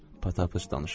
Patappıç danışırdı.